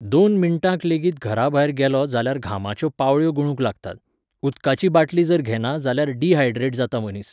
दोन मिनटांक लेगीत घराभायर गेलों जाल्यार घामाच्यो पावळ्यो गळूंक लागतात. उदकाची बाटली जर घेना जाल्यार डिहायड्रट जाता मनीस.